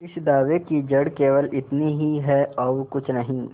इस दावे की जड़ केवल इतनी ही है और कुछ नहीं